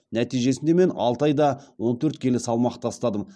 нәтижесінде мен алты айда он төрт келі салмақ тастадым